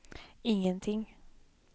ingenting